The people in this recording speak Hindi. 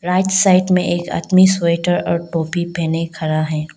राइट साइड में एक आदमी स्वेटर और टोपी पहने खड़ा है।